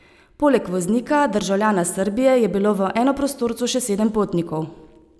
Poleg voznika, državljana Srbije, je bilo v enoprostorcu še sedem potnikov.